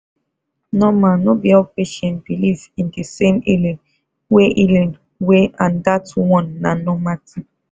normal no be all patients believe in de same healing way healing way and that one na normal thing